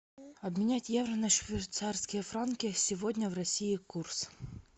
обменять евро на швейцарские франки сегодня в россии курс